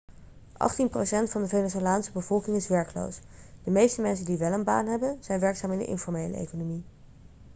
achttien procent van de venezolaanse bevolking is werkloos de meeste mensen die wel een baan hebben zijn werkzaam in de informele economie